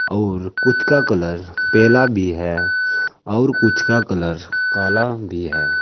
और कुछ का कलर पेला भी है और कुछ का कलर काला भी है।